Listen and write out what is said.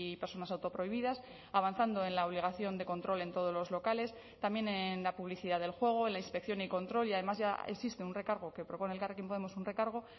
personas autoprohibidas avanzando en la obligación de control en todos los locales también en la publicidad del juego en la inspección y control y además ya existe un recargo que propone elkarrekin podemos un recargo